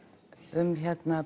um